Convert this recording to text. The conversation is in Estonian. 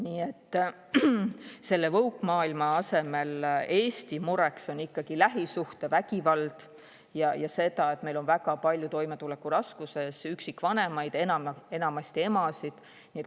Nii et selle woke-maailma asemel on Eesti mureks ikkagi lähisuhtevägivald ja see, et meil on väga palju toimetulekuraskustes üksikvanemaid, enamasti emasid.